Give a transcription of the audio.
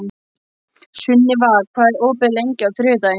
Sunniva, hvað er opið lengi á þriðjudaginn?